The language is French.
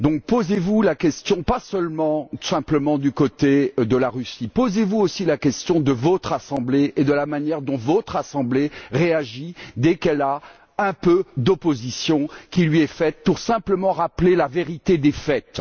Posez vous donc la question pas seulement du côté de la Russie, posez vous aussi la question de votre assemblée et de la manière dont votre assemblée réagit dès qu'elle rencontre un peu d'opposition qui lui est faite simplement pour rappeler la vérité des faits.